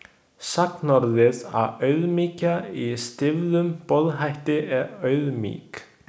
Sagnorðið að „auðmýkja“ í stýfðum boðhætti er „auðmýk“.